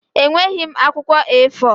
Enweghị m akwụkwọ A4.